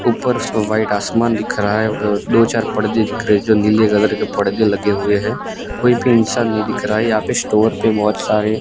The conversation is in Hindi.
ऊपर सो व्हाइट आसमान दिख रहा है अ दो चार पर्दे दिख रहे हैं जो नीले कलर के परदे लगे हुए हैं कोई भी इंसान नहीं दिख रहा है यहां पे स्टोर पे बहोत सारे--